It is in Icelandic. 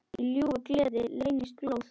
Í ljúfu geði leynist glóð.